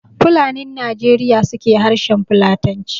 Fulanin Najeriya su ke harshen Fulatanci